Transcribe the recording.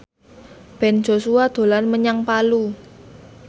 Ben Joshua dolan menyang Palu